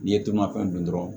N'i ye dungafɛn dun dɔrɔn